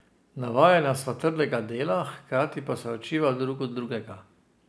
Navajena sva trdega dela, hkrati pa se učiva drug od drugega.